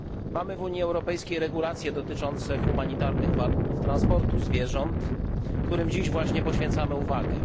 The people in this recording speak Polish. Mamy w Unii Europejskiej regulacje dotyczące humanitarnych warunków transportu zwierząt, którym dziś właśnie poświęcamy uwagę.